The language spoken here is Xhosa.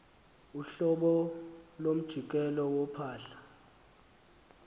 uhlobo lomjikelo wophahla